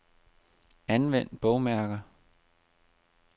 Anvend bogmærker.